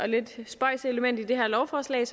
lidt spøjse element i det her lovforslag